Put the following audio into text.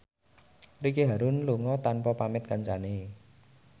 Ricky Harun lunga tanpa pamit kancane